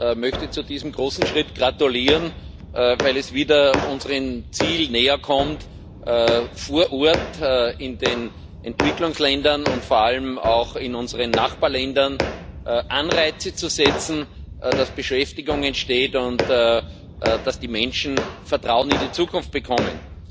Ich möchte zu diesem großen Schritt gratulieren, weil wir unserem Ziel wieder näherkommen, vor Ort, in den Entwicklungsländern und vor allem auch in unseren Nachbarländern Anreize zu setzen, dass Beschäftigung entsteht und dass die Menschen Vertrauen in die Zukunft bekommen.